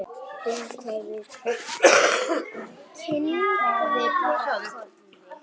Kinkaði bara kolli.